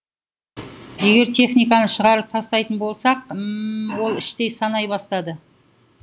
егер техниканы шығарып тастайтын болсақ ім ол іштей санай бастады